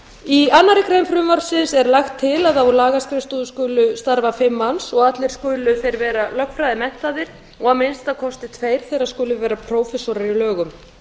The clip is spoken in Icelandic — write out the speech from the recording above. í annarri grein frumvarpsins er lagt til að á lagaskrifstofu skulu starfa fimm manns og allir skulu vera lögfræðimenntaðir og að minnsta kosti tveir þeirra skulu vera prófessorar í lögum